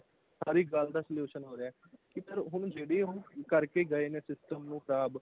ਹਰ ਇੱਕ ਗਲ ਦਾ solution ਹੋ ਰਿਹਾ ਪਰ ਹੁਣ ਜਿਹੜੇ ਹੂਣ ਕਰਕੇ ਗਏ ਨੇ system ਨੂੰ ਖਰਾਬ